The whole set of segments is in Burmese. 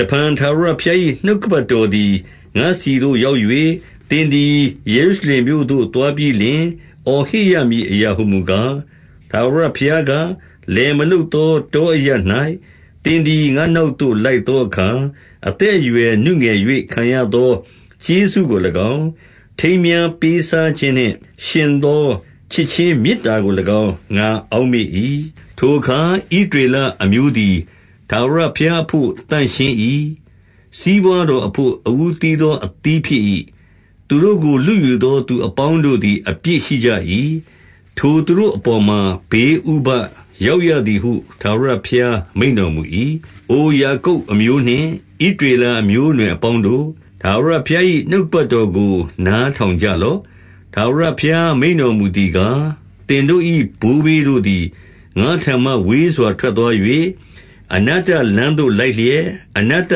တဖန်ထာဝရဘုရား၏ နှုတ်ကပတ်တော်သည်ငါ့ဆီသို့ရောက်၍၊ သင်သည်ယေရုရှလင်မြို့သို့ သွားပြီး လျှင်၊ အော်ဟစ်ရမည်အရာဟူမူကား၊ ထာဝရဘုရားက၊ လယ်မလုပ်သော တောအရပ်၌ သင်သည် ငါ့နောက် သို့လိုက်သောအခါ၊ အသက်အရွယ်နုငယ်၍ခံရသောကျေးဇူးကို၎င်း၊ ထိမ်းမြားပေးစားခြင်းနှင့်ယှဉ်သော ချစ်ခြင်းမေတ္တာကို၎င်း ငါအောက်မေ့၏။ ထိုအခါ ဣသရေလအမျိုးသည် ထာဝရဘုရားအဘို့ သန့်ရှင်း၏။ စီးပွားတော်အဘို့ အဦးသီးသော အသီးဖြစ်၏။ သူတို့ကို လုယူသောသူအပေါင်းတို့သည် အပြစ်ရှိကြ၏။ ထိုသူတို့အပေါ်မှာ ဘေးဥပဒ်ရောက်ရ သည်ဟု ထာဝရဘုရားမိန့်တော်မူ၏။ အိုယာကုပ်အမျိုးနှင့် ဣသရေလ အမျိုးအနွယ် အပေါင်းတို့၊ ထာဝရဘုရား၏ နှုတ်ကပတ်တော်ကို နား ထောင်ကြလော့။ ထာဝရဘုရား မိန့်တော်မူသည်ကား၊ သင်တို့၏ဘိုးဘေးတို့သည် ငါ့ထံမှဝေးစွာထွက်သွား၍၊ အနတ္တလမ်း သို့လိုက်လျက်၊ အနတ္တသ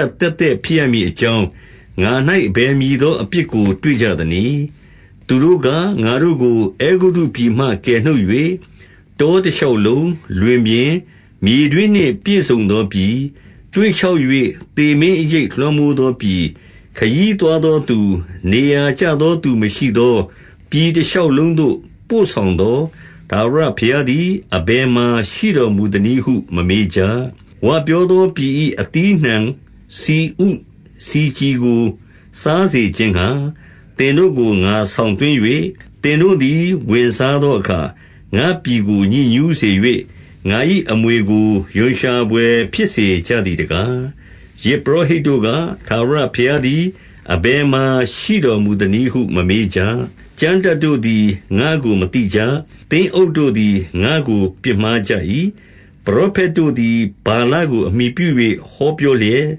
က်သက်ဖြစ်ရမည်အကြောင်း၊ ငါ၌ အဘယ်မည်သောအပြစ်ကို တွေ့ကြသနည်း။ သူတို့က၊ ငါတို့ကို အဲဂုတ္တုပြည်မှ ကယ်နှုတ်၍၊ တောတရှောက်လုံး၊ လွင်ပြင်၊ မြေတွင်းနှင့်ပြည့်စုံသော ပြည်၊ သွေ့ခြောက်၍ သေမင်းအရိပ် လွှမ်းမိုးသောပြည်၊ ခရီးသွားသောသူ၊ နေရာကျသောသူမရှိသော ပြည်တ ရှောက်လုံးသို့ပို့ဆောင်သော ထာဝရဘုရားသည် အဘယ် မှာ ရှိတော်မူသနည်းဟု မမေးကြ။ ဝပြောသော ပြည်၏အသီးအနှံဆီဥဆီကြည်ကို စားစေခြင်းငှါ သင်တို့ကို ငါဆောင်သွင်း၍၊ သင်တို့သည် ဝင်စားသောအခါ၊ ငါ့ပြည်ကို ညစ်ညူးစေ၍၊ ငါ၏အမွေ ကို ရွံရှာဘွယ်ဖြစ်စေကြသည်တကား။ ယဇ်ပုရောဟိတ်တို့က၊ ထာဝရဘုရားသည် အဘယ်မှာ ရှိတော်မူသနည်းဟု မမေးကြ။ ကျမ်းတတ်တို့ သည် ငါ့ကိုမသိကြ။ သင်းအုပ်တို့သည် ငါ့ကို ပြစ်မှား ကြ၏။ ပရောဖက်တို့သည် ဗာလကို အမှီပြု၍ ဟောပြော လျက်၊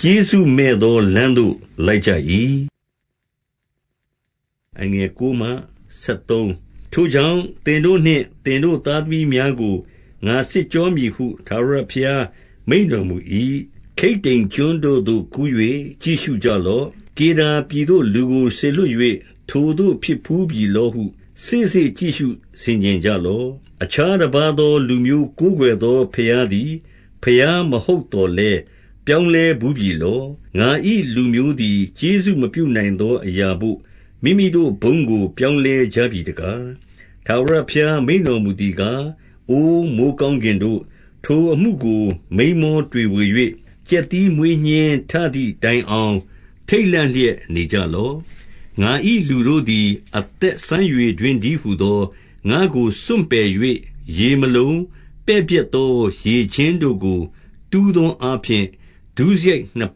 ကျေးဇူးမဲ့သောလမ်းသို့ လိုက်ကြ၏။ ထိုကြောင့်၊ သင်တို့နှင့် သင်တို့သားသမီးများကို ငါစစ်ကြောမည်ဟု ထာဝရဘုရားမိန့်တော်မူ၏။ ခိတ္တိမ်ကျွန်းတို့သို့ကူး၍ ကြည့်ရှုကြလော့။ ကေဒါပြည်သို့ လူကို စေလွှတ်၍၊ ထိုသို့ဖြစ်ဘူးပြီလောဟု စေ့စေ့ကြည့်ရှုဆင်ခြင်ကြလော့။ အခြားတပါးသော လူမျိုးကိုးကွယ်သော ဘုရား သည် ဘုရားမဟုတ်သော်လည်း၊ ပြောင်းလဲဘူးပြီလော။ ငါ၏လူမျိုးသည် ကျေးဇူးမပြုနိုင်သောအရာဘို့ မိမိတို့ ဘုန်းကို ပြောင်းလဲကြပြီတကား။ ထာဝရဘုရား မိန့်တော်မူသည်ကား၊ အို မိုဃ်း ကောင်းကင်တို့၊ ထိုအမှုကို မိန်းမောတွေဝေ၍၊ ကြက်သီး မွေးညှင်းထသည်တိုင်အောင် ထိတ်လန့်လျက် နေကြ လော့။ ငါ၏ လူတို့သည် အသက်စမ်းရေတွင်းတည်း ဟူသော၊ ငါ့ကိုစွန့်ပစ်၍၊ ရေမလုံ၊ ပဲ့ပျက်သောရေကျင်း တို့ကို တူးသောအားဖြင့် ဒုစရိုက်နှစ်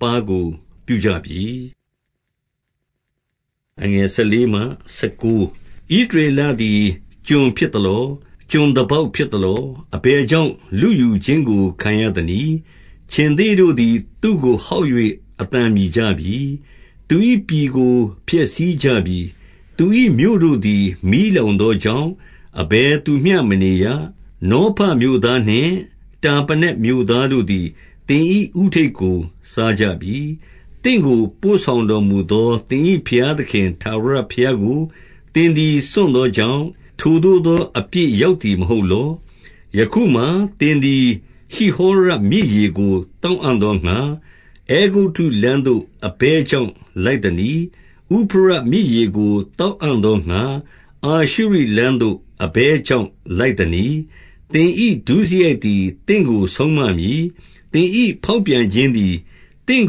ပါးကို ပြုကြပြီ။ ဣသရေလသည် ကျွန်ဖြစ်သလော။ ကျွန်သား ပေါက် ဖြစ်သလော။ အဘယ်ကြောင့် လုယူခြင်းကို ခံရသနည်း။ ခြင်္သေ့တို့သည် သူ့ကိုဟောက်၍ အသံမြည်ကြ ပြီ။ သူ၏ပြည်ကို ဖျက်ဆီးကြပြီ။ သူ၏မြို့တို့သည် မီးလောင်သောကြောင့်၊ အဘယ်သူမျှ မနေရ။ နောဖမြို့သားနှင့် တာပနက်မြို့သားတို့သည် သင်၏ဦးထိပ်ကို စားကြပြီ။ သင့်ကိုပို့ဆောင်တော်မူသော သင်၏ဘုရား သခင် ထာဝရဘုရားကို သင်သည်စွန့်သောကြောင့်၊ ထိုသို့သော အပြစ်ရောက်သည် မဟုတ်လော။ ယခုမှာ သင်သည် ရှိဟောရမြစ်ရေကို သောက် အံ့သောငှါ၊ အဲဂုတ္တုလမ်းသို့ အဘယ်ကြောင့် လိုက် သနည်း။ ဥဖရတ်မြစ်ရေကို သောက်အံ့သောငှါ၊ အာရှုရိ လမ်းသို့ အဘယ်ကြောင့် လိုက်သနည်း။ သင်၏ ဒုစရိုက်သည် သင့်ကိုဆုံးမမည်။ သင်၏ ဖောက်ပြန်ခြင်းသည် သင့်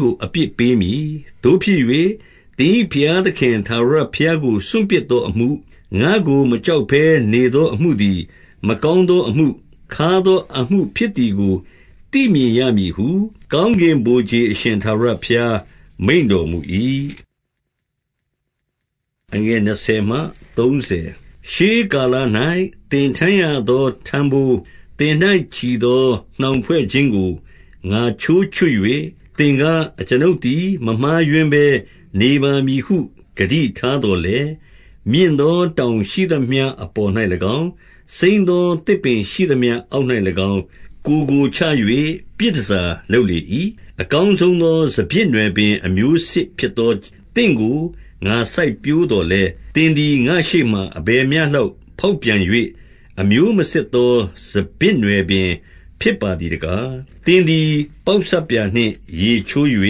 ကို အပြစ်ပေးမည်။ သို့ဖြစ်၍ သင်၏ဘုရားသခင် ထာဝရဘုရားကို စွန့်ပစ်သောအမှု၊ ငါ့ကိုမကြောက်ဘဲ နေသောအမှုသည်၊ မကောင်းသော အမှု၊ ခါးသောအမှုဖြစ်သည်ကို သိမြင်ရမည်ဟု ကောင်း ကင်ဗိုလ်ခြေ အရှင်ထာဝရဘုရား မိန့်တော်မူ၏။ ရှေးကာလ၌ သင်ထမ်းရသော ထမ်းဘိုး၊ သင်၌ ချည်သော နှောင်ဖွဲ့ခြင်းကို ငါချိုးချွတ်၍ သင်က၊ အကျွန်ုပ်သည် မမှားယွင်းဘဲ နေပါမည်ဟု ဂတိထား သော်လည်း၊ မြင့်သောတောင်ရှိသမျှ အပေါ်၌၎င်း၊ စိမ်းသောသစ်ပင်ရှိသမျှအောက်၌၎င်း၊ ကိုယ်ကိုချ၍ ပြည်တန်ဆာလုပ်လေ၏။ အကောင်းဆုံးသော စပျစ်နွယ်ပင်အမျိုးစစ် ဖြစ်သော သင့်ကို ငါစိုက်ပျိုးသော်လည်း၊ သင်သည် ငါ့ရှေ့ မှာ အဘယ်မျှလောက် ဖောက်ပြန်၍၊ အမျိုးမစစ်သော စပျစ်နွယ်ပင်ဖြစ်ပါသည်တကား။ သင်သည် ပေါက်ဆပ်ပြာနှင့် ရေချိုး၍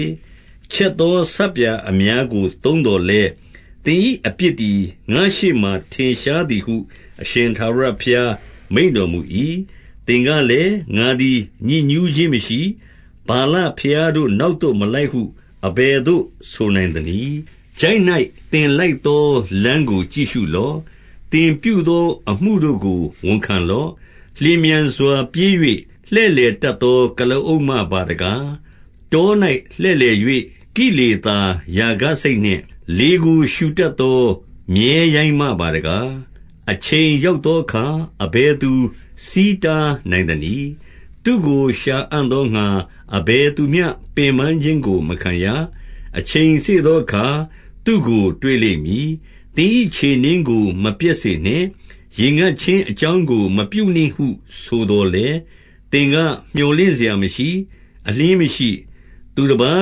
၊ ချက် သော ဆပ်ပြာအများကို သုံးသော်လည်း၊ သင်၏အပြစ် သည် ငါ့ရှေ့မှာထင်ရှားသည်ဟု အရှင်ထာဝရဘုရား မိန့်တော်မူ၏။ သင်ကလည်း၊ ငါသည် ညစ်ညူးခြင်းမရှိ၊ ဗာလ ဘုရားတို့ နောက်သို့မလိုက်ဟု အဘယ်သို့ ဆိုနိုင်သနည်း။ ချိုင့်၌ သင်လိုက်သော လမ်းကိုကြည့်ရှုလော့။ သင်ပြု သော အမှုတို့ကို ဝန်ခံလော့။ လျင်မြန်စွာ ပြေး၍ လှည့် လည်တတ်သော ကုလားအုပ်မပါတကား။ တော၌ လှည့်လည်၍ ကိလေသာရာဂစိတ်နှင့် လေကိုရှူတတ်သော မြည်းရိုင်းမပါတကား။ အချိန်ရောက် သောအခါ အဘယ်သူ ဆီးတားနိုင်သနည်း။ သူ့ကိုရှာအံ့ သောငှါ အဘယ်သူမျှ ပင်ပန်းခြင်းကို မခံရ။ အချိန်စေ့ သောအခါ သူ့ကိုတွေ့လိမ့်မည်။ သင်၏ခြေနင်းကို မပျက်စေနှင့်။ ရေငတ်ခြင်း အကြောင်းကို မပြုနှင့်ဟုဆိုသော်လည်း၊ သင်ကမြော်လင့် စရာမရှိ၊ အလျှင်းမရှိ။ သူတပါး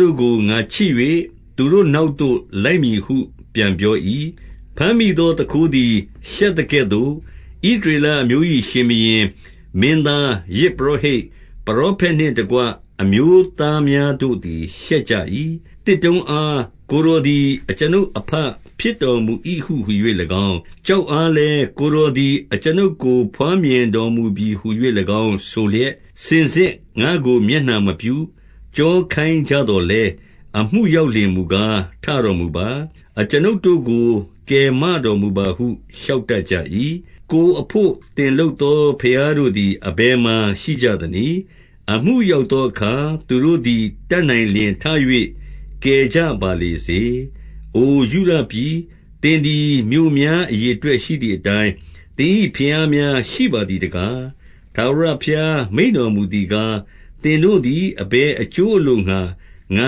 တို့ကို ငါချစ်၍၊ သူတို့ နောက်သို့ လိုက်မည်ဟု ပြန်ပြော၏။ ဘမ်းမိသောသူခိုးသည် ရှက်သကဲ့သို့၊ ဣသ ရေလအမျိုး၏ ရှင်ဘုရင်၊ မင်းသား၊ ယဇ်ပုရောဟိတ်၊ ပရောဖက်နှင့်တကွ အမျိုးသားများတို့သည် ရှက်ကြ၏။ သစ်တုံးအား၊ ကိုယ်တော်သည် အကျွန်ုပ်အဘ ဖြစ်တော်မူ၏ဟူ၍၎င်း၊ ကျောက်အားလည်း၊ ကိုယ်တော် သည် အကျွန်ုပ် ကို ဘွားမြင်တော်မူပြီဟူ၍၎င်း ဆိုလျက်၊ စင်စစ်ငါ့ကို မျက်နှာမပြု၊ ကျောခိုင်းကြသော်လည်း၊ အမှု ရောက်လျှင်မူကား၊ ထတော်မူပါ၊ အကျွန်ုပ်တို့ကို ကယ်မ တော်မူပါဟု လျှောက်တတ်ကြ၏။ ကိုယ်အဘို့ သင်လုပ်သော ဘုရားတို့သည် အဘယ်မှာရှိကြသနည်း။ အမှုရောက်သောအခါ သူတို့ သည် တတ်နိုင်လျှင်ထ၍ ကယ်ကြပါလေစေ။ အိုယုဒ ပြည်၊ သင်သည် မြို့များ အရေအတွက်ရှိသည်အတိုင်း၊ သင်၏ဘုရားများရှိပါသည်တကား။ ထာဝရဘုရား မိန့်တော်မူသည်ကား၊ သင်တို့ သည် အဘယ်အကျိုးအလိုငှါ ငါ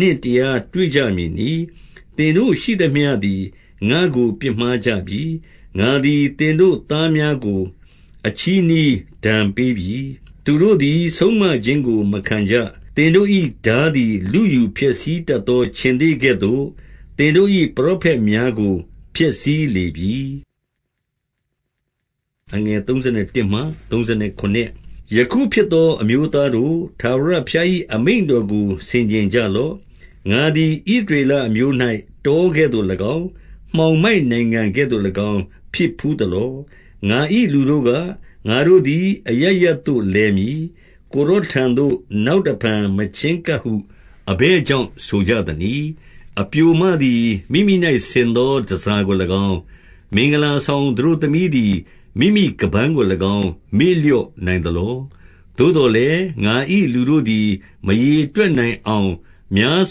နှင့်တရားတွေ့ကြမည် နည်း။ သင်တို့ရှိသမျှသည် ငါ့ကို ပြစ်မှားကြပြီ။ ငါသည်သင်တို့ သားများကို အချည်းနှီးဒဏ်ပေး ပြီ။ သူတို့သည် ဆုံးမခြင်းကို မခံကြ။ သင်တို့၏ ထား သည် လုယူဖျက်ဆီးတတ်သော ခြင်္သေ့ကဲ့သို့၊ သင်တို့၏ ပရောဖက်များကို ဖျက်ဆီးလေပြီ။ ယခုဖြစ်သော အမျိုးသားတို့၊ ထာဝရဘုရား၏ အမိန့်တော်ကို ဆင်ခြင်ကြလော့။ ငါသည် ဣသရေလ အမျိုး၌ တောကဲ့သို့၎င်း၊ မှောင်မိုက်နိုင်ငံကဲ့သို့၎င်း ဖြစ်ဘူး သလော။ ငါ၏လူတို့က၊ ငါတို့သည် အရပ်ရပ်သို့ လည် မည်။ ကိုယ်တော်ထံသို့ နောက်တဖန်မချဉ်းကပ်ဟု အဘယ်ကြောင့် ဆိုကြသနည်း။ အပျိုမသည် မိမိ၌ဆင်သောတန်ဆာကို၎င်း၊ မင်္ဂလာဆောင် သတို့သမီးသည် မိမိခါးပန်းကို၎င်း မေ့လျော့နိုင်သလော။ သို့သော်လည်း၊ ငါ၏လူတို့သည် မရေတွက်နိုင်အောင် များ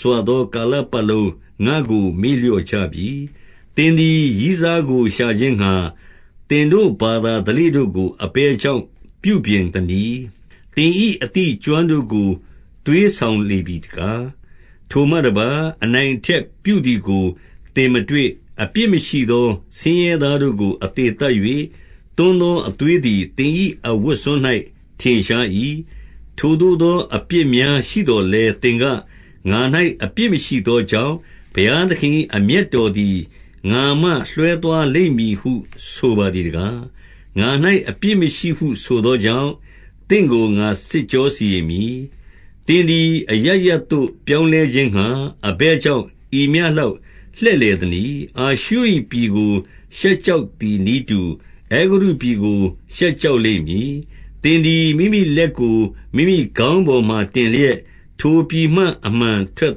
စွာသောကာလပတ်လုံး ငါ့ကို မေ့လျော့ကြပြီ။ သင်သည် ရည်းစားကို ရှာခြင်းငှါ သင်တို့ ဘာသာဓလေ့တို့ကို အဘယ်ကြောင့်ပြုပြင်သနည်း။ သင်၏အသိအကျွမ်းတို့ကို သွေးဆောင်လေပြီတကား။ ထိုမှတပါး၊ အနိုင်အထက်ပြုသည်ကို သင် မတွေ့။ အပြစ်မရှိသော ဆင်းရဲသားတို့ကို အသေသတ်၍၊ သွန်းသော အသွေးသည် သင်၏အဝတ်စွန်း၌ ထင်ရှား ၏။ ထိုသို့သော အပြစ်များရှိသော်လည်း သင်က၊ ငါ၌အပြစ်မရှိသောကြောင့်၊ ဘုရားသခင်၏ အမျက် တော်သည် ငါမှလွှဲသွားလိမ့်မည်ဟု ဆိုပါသည်တကား။ ငါ၌အပြစ်မရှိဟုဆိုသောကြောင့်၊ သင့်ကို ငါစစ်ကြော စီရင်မည်။ သင်သည် အရပ်ရပ်သို့ ပြောင်းလဲခြင်းငှါ၊ အဘယ်ကြောင့် ဤမျှလောက်လှည့်လည်သနည်း။ အာရှုရိပြည်ကို ရှက်ကြောက်သည်နည်းတူ၊ အဲဂုတ္တုပြည် ကို ရှက်ကြောက်လိမ့်မည်။ သင်သည် မိမိလက်ကို မိမိခေါင်းပေါ်မှာ တင်လျက်၊ ထိုပြည်မှ အမှန်ထွက်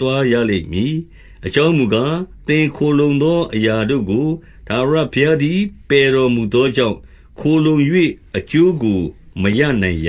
သွားရလိမ့်မည်။ အကြောင်းမူကား၊ သင်ခိုလှုံသောအရာတို့ကို ထာဝရ ဘုရားသည် ပယ်တော်မူသောကြောင့်၊ ခိုလှုံ၍ အကျိုးကို မရနိုင်ရ